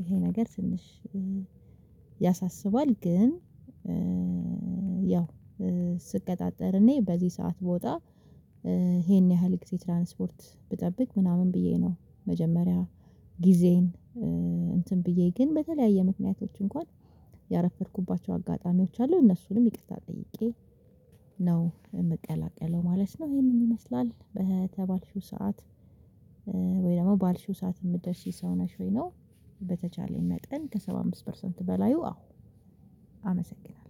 ይሄ ነገር ትንሽ ያሳስባል። ግን ያው ስትቀጣጠር እኔ በዚህ ሰዓት ብወጣ ይሄን ያህል ጊዜ ትራንስፖርት ብጠብቅ ምናምን ብዬ ነው መጀመሪያ ጊዜን እንትን ብዬ ግን በተለያየ ምክንያቶች እንኳን ያረፈድኩባቸው አጋጣሚዎች አሉ እነሱንም ይቅርታ ጠይቄ ነው የምቀላቀለው ማለት ነው። ይሄንን ይመስላል በተባልሽው ሰዓት ወይ ደግሞ ባልሽው ሰዓት የምትደርሺ ሰው ነሽ ወይ ነው? በተቻለኝ መጠን ከሰባ አምስት ፐርሰንት በላዩ አዎ አመሰግናለሁ።